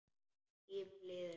Tíminn líður.